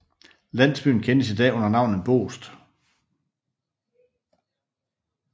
Landsbyen kendes i dag under navnet Boest